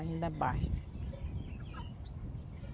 A gente abaixa.